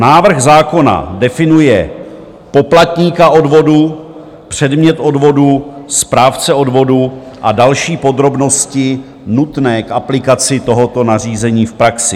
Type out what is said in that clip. Návrh zákona definuje poplatníka odvodu, předmět odvodu, správce odvodů a další podrobnosti nutné k aplikaci tohoto nařízení v praxi.